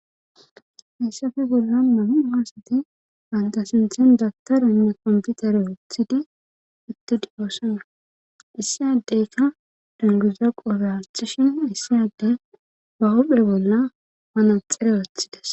Hayssafe bolla nam'a hasati bantasinthen dagtaranne komputere wothidi ittidi oosana issi addeykka dunguza qoobe hathishin hayssi adde bawophe bolla ba naxere wothides